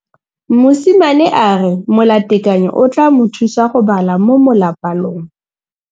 Mosimane a re molatekanyô o tla mo thusa go bala mo molapalong.